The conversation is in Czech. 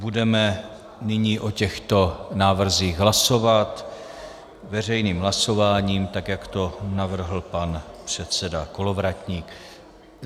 Budeme nyní o těchto návrzích hlasovat veřejným hlasováním, tak jak to navrhl pan předseda Kolovratník.